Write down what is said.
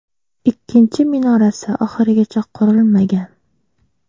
Ikkinchi minorasi oxirigacha qurilmagan.